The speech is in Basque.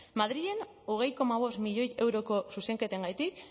madrilen hogei koma bost milioi euroko zuzenketengatik